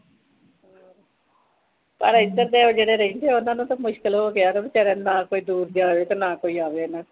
ਪਰ ਇਥੇ ਜਿਹੜੇ ਰਹਿੰਦੇ ਆ ਓਹਨਾ ਨੂੰ ਤਾ ਮੁਸ਼ਕਿਲ ਹੋ ਗਿਆ ਨਾ ਵਿਚਾਰਿਆ ਨੂੰ ਨਾ ਕੋਈ ਦੂਰ ਦੁਰਾਡੇ ਤੋਂ ਆਵੇ